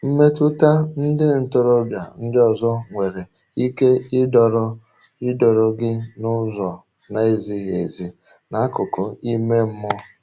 Mmetụta ndị ntorobịa ndị ọzọ nwere ike ịdọrọ ịdọrọ gị n’ụzọ na-ezighị ezi n’akụkụ ime mmụọ.